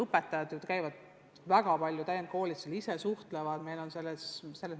Õpetajad ju käivad väga palju täienduskoolitustel, nad suhtlevad omavahel.